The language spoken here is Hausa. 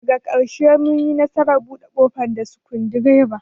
Daga karshe mun yi nasarar bude kofar da abin sukundiraba.